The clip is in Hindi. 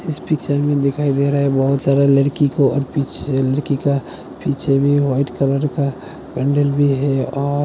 इस पिच्चर में बहोत सारे लड़की को और पीछे लड़की का पीछे भी वाइट कलर का बण्डल भी है। और --